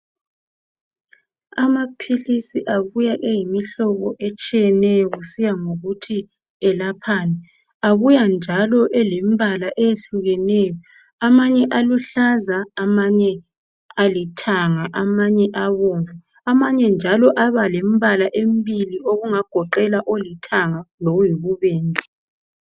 Amaphilisi abuya eyimihlobo etshiyeneyo kusiya ngokuthi elaphani. Abuya njalo elembala eyehlukeneyo. Amanye aluhlaza, amanye alithanga, amanye abomvu. Amanye njalo aba lembala emibili okungagoqela olithanga lokuyibubende.